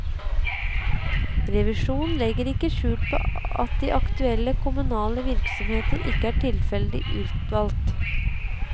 Revisjonen legger ikke skjul på at de aktuelle kommunale virksomheter ikke er tilfeldig utvalgt.